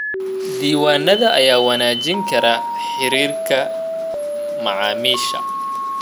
Diiwaanada ayaa wanaajin kara xiriirka macaamiisha.